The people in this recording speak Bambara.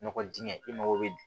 Nɔgɔ dingɛ e mago be